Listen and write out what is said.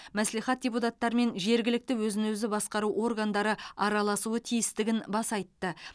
мәслихат депутаттары мен жергілікті өзін өзі басқару органдары араласуы тиістігін баса айтты